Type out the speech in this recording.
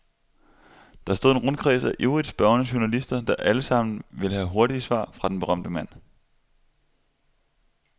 Der stod en rundkreds af ivrigt spørgende journalister, der alle sammen vil have hurtige svar fra den berømte mand.